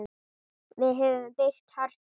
Við höfum byggt Hörpu.